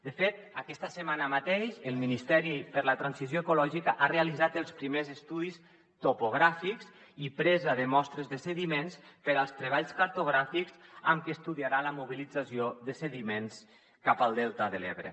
de fet aquesta setmana mateixa el ministeri per a la transició ecològica ha realitzat els primers estudis topogràfics i presa de mostres de sediments per als treballs cartogràfics amb què estudiarà la mobilització de sediments cap al delta de l’ebre